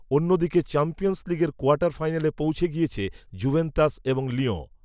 অন্য দিকে চ্যাম্পিয়ন্স লিগের কোয়ার্টার ফাইনালে পৌঁছে গিয়েছে, জুভেন্তাস, এবং লিয়ঁ